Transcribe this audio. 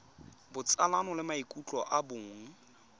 botsalano le maikutlo a bong